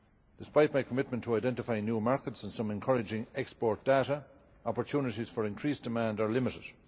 Despite my commitment to identify new markets and some encouraging export data, opportunities for increased demand are limited.